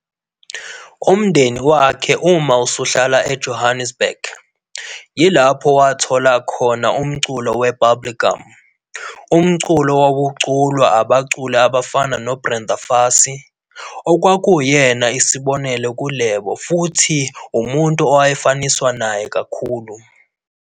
UMndeni wakhe uma usuhlala eJohannesburg, yilapho wathola khona umculo weBubblegum, umculo owawuculwa abaculi abafana noBrenda Fassie, okwakuyena isibonelo kuLebo futhi umuntu owayefaniswa naye kakhulu.